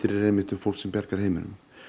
eru einmitt um fólk sem bjargar heiminum